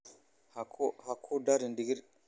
Ha ku darin digir?